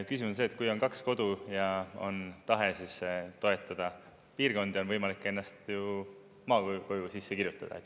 Küsimus on see, et kui on kaks kodu ja on tahe toetada piirkondi, siis on võimalik ennast ju maakoju sisse kirjutada.